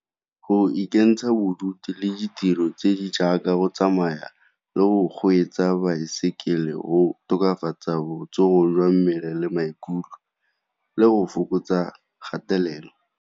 Go ikentsha bodutu le ditiro tse di jaaka go tsamaya le o kgweetsa baesekele, go tokafatsa botsogo jwa mmele le maikutlo le go fokotsa kgatelelo.